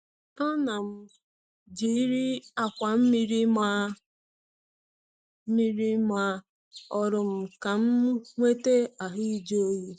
Ana m jeiri akwa mmiri maa mmiri maa olu m ka m nwete ahụ ịjụ oyi.